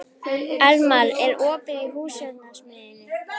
Elmar, er opið í Húsasmiðjunni?